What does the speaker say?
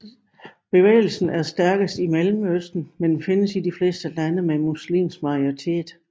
Bevægelsen er stærkest i Mellemøsten men findes i de fleste lande med muslimsk majoritet